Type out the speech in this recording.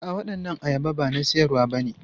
A'a, waɗannan ayaba ba na siyarwa bane.